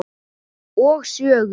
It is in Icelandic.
Og sögur.